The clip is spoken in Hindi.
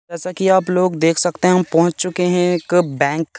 जैसा कि आप लोग देख सकते है हम पहुंच चुके है एक बैंक --